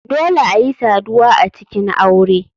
Dole ayi saduwa a cikin aure.